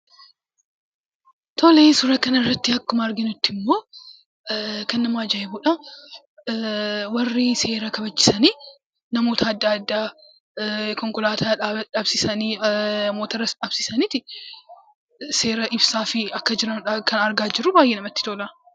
Tole, suuraa kana irratti akkuma arginutti immoo, kan nama ajaa'ibuudha! Warri seera kabachiisan namoota adda addaa konkolaataa dhaabsisanii, mootoras dhaabsisanii seera ibsaafii akka jiraniidha kan argaa jirru; baay'ee namatti tola.